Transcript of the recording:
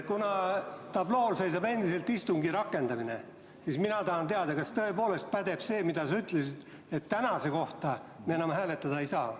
Kuna tablool seisab endiselt "Istungi rakendamine", siis mina tahan teada, kas tõepoolest peab paika see, mida sa ütlesid, et tänase kohta me enam hääletada ei saa.